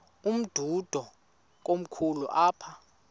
umdudo komkhulu apha